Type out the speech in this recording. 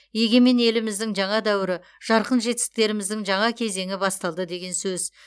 егемен еліміздің жаңа дәуірі жарқын жетістіктеріміздің жаңа кезеңі басталды деген сөз